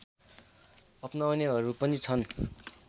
अपनाउनेहरू पनि छन्